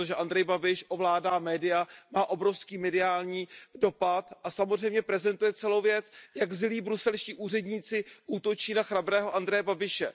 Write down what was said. Protože Andrej Babiš ovládá média, má obrovský mediální dopad a samozřejmě prezentuje celou věc, jak zlí bruselští úředníci útočí na chrabrého Andreje Babiše.